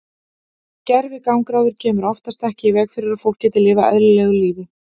Gervigangráður kemur oftast ekki í veg fyrir að fólk geti lifað eðlilegu lífi.